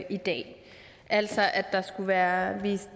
i dag altså at der skulle være en